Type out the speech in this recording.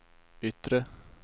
yttre